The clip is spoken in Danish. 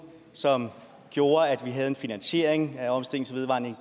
som gjorde at vi havde en finansiering af omstilling til vedvarende